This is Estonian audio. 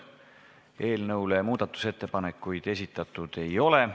Eelnõu kohta muudatusettepanekuid esitatud ei ole.